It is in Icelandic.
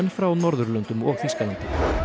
frá Norðurlöndum og Þýskalandi